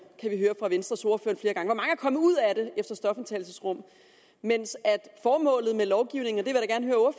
har vi hørt fra venstres ordfører er kommet ud af det efter stofindtagelsesrum formålet med lovgivningen